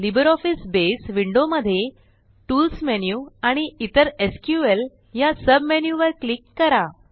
LibreOffice बसे विंडोमध्ये tools menu आणि नंतर एसक्यूएल ह्या सुब मेनू वर क्लिक करा